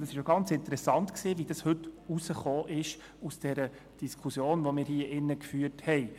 Es war interessant zu hören, was bei der Diskussion herausgekommen ist, die wir hier drin geführt haben.